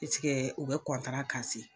u be